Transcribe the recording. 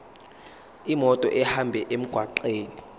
imoto ihambe emgwaqweni